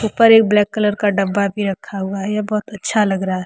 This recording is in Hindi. ऊपर एक ब्लैक कलर का डब्बा भी रखा हुआ है यह बहोत अच्छा लग रहा है।